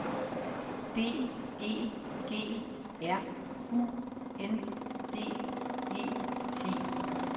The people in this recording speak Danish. B E G R U N D E T